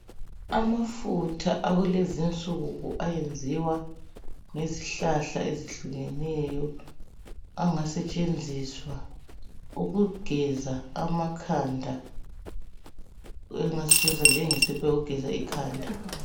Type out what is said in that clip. Amafutha akulezi insuku, ayenziwa ngezihlahla ezehlukeneyo. Angasetshenziswa, ukugeza amakhanda. Angasetshenziswa njengesepa yokugeza ikhanda .